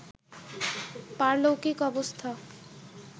পারলৌকিক অবস্থা